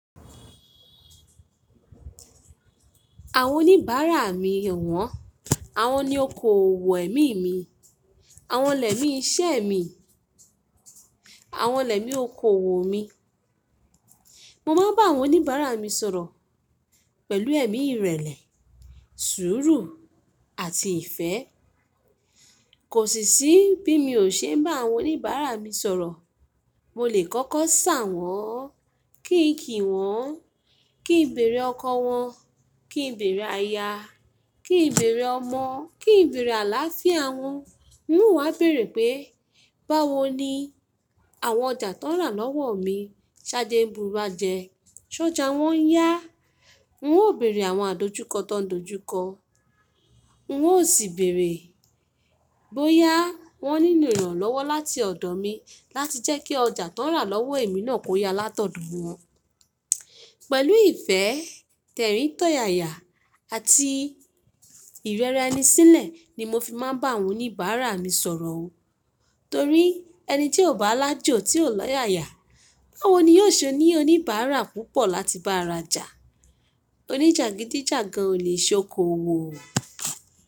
Àwon oníbàárà mi owọ́n, àwon ni okoòwò ẹ̀mí mi, àwon l'ẹ̀mí iṣẹ́ mi, àwon l'ẹ̀mí okoòwò mi. Mo ma ń bá àwon oníbàárà mi sọ̀rọ̀ pẹ̀lú ẹ̀mí ìrẹ̀lẹ̀, sùúrù àti ìfẹ́. Kò sì sí bí mi ò ṣe ń bá àwon oníbàárà mi sọ̀rọ̀. Mo lè kọ́kọ́ ṣà wọ́n, kí n kì wọ́n, kí n bèèrè ọkọ wọn, kí n bèèrè aya, kí n bèèrè ọmọ, kí n bèèrè àlááfíà wọn. N ó wá bèèrè pé, báwo ni àwon ọjà ti won ń rà lọ́wọ́ mi, ṣe áje ń bu'gba jẹ? Ṣ'ọjá wọ́n ń yá? N ò bèèrè àwon àdojúkọ ti woń n dojúkọ. N ó sì ń bèèrè bóyá wọ́n nílò ìrànlọ́wọ́ láti ọ̀dọ̀ mi láti jẹ́ kí ọjà ti woń n rà lọ́wọ́ èmi náà kó ya látọ̀dọ̀ wọ́n. Pẹ̀lú ìfẹ́, t'ẹ̀rín t'ọ̀yáyà àti ìrẹra ẹni sílẹ̀ ni mo fi ma ń bá àwon oníbàárà mi sọ̀rọ̀ o. Torí ẹni tí ò bá l'aájò tí ò l'ọ́yáyà, báwo ni yóò ṣe ní oníbàárà púpọ̀ láti bá a rajà? Oníjàgídíjàgan ò lè ṣe okoòwò o.